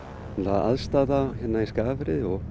aðstaða hérna í Skagafirði og